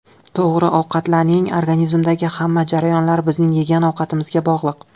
To‘g‘ri ovqatlaning Organizmdagi hamma jarayonlar bizning yegan ovqatimizga bog‘liq.